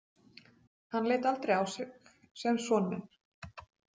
Hann leit aldrei á sig sem son minn.